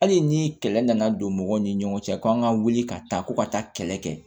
Hali ni kɛlɛ nana don mɔgɔw ni ɲɔgɔn cɛ ko an ka wuli ka taa ko ka taa kɛlɛ kɛ